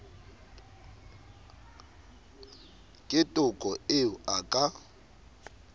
ke toko eo a ka